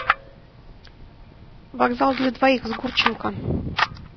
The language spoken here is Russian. вокзал для двоих с гурченко